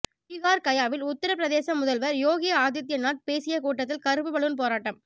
பிஹார் கயாவில் உத்தரப் பிரதேச முதல்வர் யோகி ஆதித்யநாத் பேசியக் கூட்டத்தில் கருப்பு பலூன் போராட்டம்